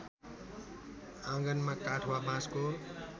आँगनमा काठ वा बाँसको